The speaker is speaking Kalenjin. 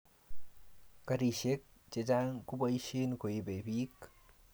garishek chechang keboishe koibe piik